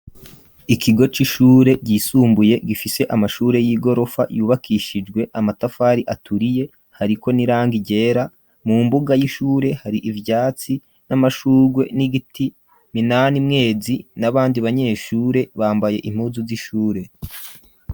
Ikigo c'ishure ryisumbuye gifise amashure y'igorofa yubakishijwe amatafari aturiye hariko n'irangi ryera, mu mbuga y'ishure hari ivyatsi n'amashurgwe n'igiti minanimwezi n'abandi banyeshure bambaye impuzu z'ishure.